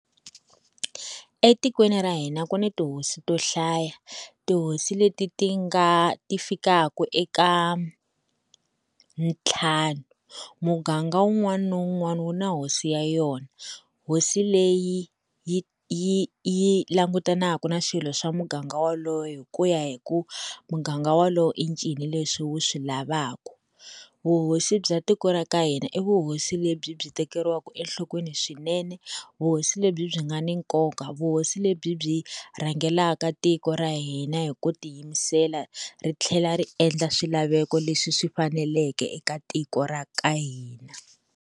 Etikweni ra hina ku ni tihosi to hlaya tihosi leti ti nga ti fikaka eka ntlhanu, muganga wun'wani na wun'wani wu na hosi ya yona, hosi leyi yi yi yi langutanaka na swilo swa muganga wolowo hi kuya hi ku muganga wolowo i ncini leswi wu swi lavaka, vuhosi bya tiko ra ka hina i vuhosi lebyi byi tekeriwaka enhlokweni swinene, vuhosi lebyi byi nga ni nkoka vuhosi lebyi byi rhangelaka tiko ra hina hi ku tiyimisela ri tlhela ri endla swilaveko leswi swi faneleke eka tiko ra ka hina.